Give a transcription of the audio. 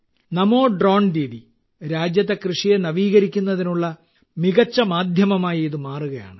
നമോ drone Didi രാജ്യത്തെ കൃഷിയെ നവീകരിക്കുന്നതിനുള്ള മികച്ച മാധ്യമമായി ഇത് മാറുകയാണ്